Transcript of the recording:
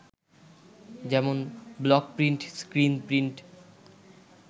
যেমন, block print, screen print